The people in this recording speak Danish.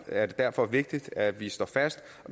er derfor vigtigt at vi står fast